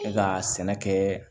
E ka sɛnɛ kɛ